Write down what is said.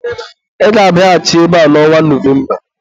Ị ga-abịaghachi ebe a n'ọnwa Novemba!